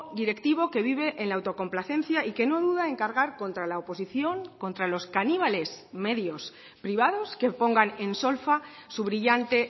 directivo que vive en la autocomplacencia y que no duda en cargar contra la oposición contra los caníbales medios privados que pongan en solfa su brillante